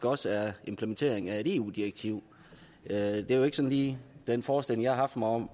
også er implementeringen af et eu direktiv det er jo ikke sådan lige den forestilling jeg har haft om